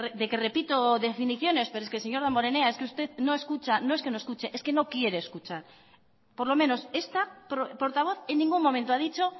de que repito definiciones pero es que señor damborenea es que usted no escucha no es que no es escuche es que no quiere escuchar por lo menos esta portavoz en ningún momento ha dicho